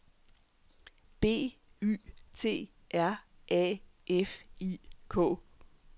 B Y T R A F I K